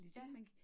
Ja